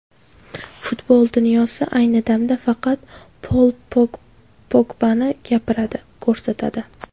Futbol dunyosi ayni damda faqat Pol Pogbani gapiradi, ko‘rsatadi.